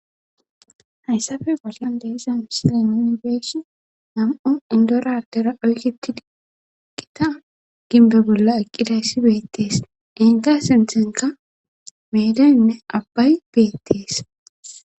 hayssafe balyan deeza misilenonigees nam7o indoradera oykketi diqqita ginbe bolla eqqidayssi beettees enga sinthenka meedeynne abbay beettees